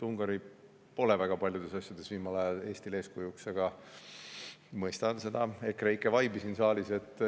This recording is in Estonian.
Ungari pole viimasel ajal väga paljudes asjades Eestile eeskujuks olnud, aga ma mõistan seda EKREIKE vibe'i siin saalis.